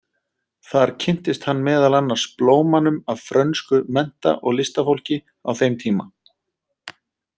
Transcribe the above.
Þar kynntist hann meðal annars blómanum af frönsku mennta- og listafólki á þeim tíma.